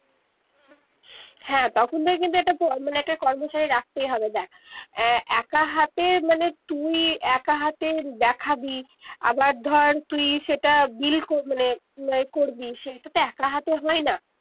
হ্যা তখন তকে কিন্তু মানে একটা কর্মচারী রাখতেই হবে দেখ আহ একা হাতে মানে তুই একা হাতে দেখাবি আবার ধর তুই সেইটা bill মানে করবি সেইটা তো একা হাতে হয়না